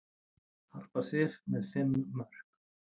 Harpa Sif með fimm mörk